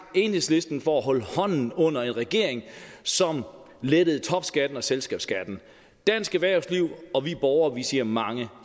enhedslisten for at holde hånden under en regering som lettede topskatten og selskabsskatten dansk erhvervsliv og vi borgere siger mange